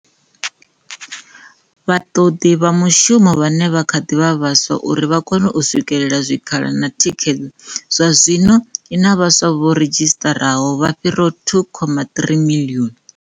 vhaṱoḓi vha mushumo vhane vha kha ḓi vha vhaswa uri vha kone u swikela zwikhala na thikhedzo zwazwino i na vhaswa vho redzhisiṱaraho vha fhiraho 2.3 miḽioni.